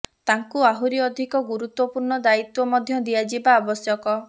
ତାଙ୍କୁ ଆହୁରି ଅଧିକ ଗୁରୁତ୍ୱପୁର୍ଣ୍ଣ ଦାୟୀତ୍ୱ ମଧ୍ୟ ଦିଆଯିବା ଆବଶ୍ୟକ